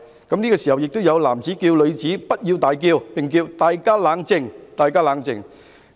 此時亦有男子叫女子不要大叫，並說："大家冷靜！